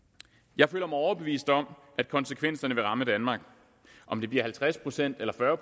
jeg føler mig overbevist om at konsekvenserne vil ramme danmark om det bliver halvtreds procent eller fyrre